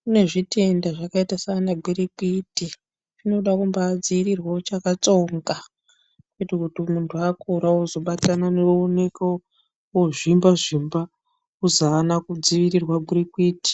kune zvitenda zvakaita saana gwirikwiti zvinoda kumbaadziirirwa uchakatsonga, kuita kuti muntu akura ozobatana ooneka oozvimba-zvimba ozi aana kudzivirirwa gwirikwiti.